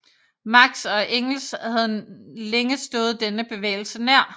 Marx og Engels havde længe stået denne bevægelse nær